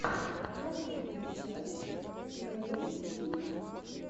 последняя часть снэйлкика